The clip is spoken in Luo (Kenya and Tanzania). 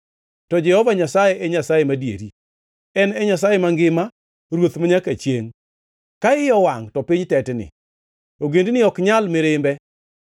To Jehova Nyasaye e Nyasaye madieri; en e Nyasaye mangima, Ruoth manyaka chiengʼ. Ka iye owangʼ, to piny tetni; ogendini ok nyal mirimbe.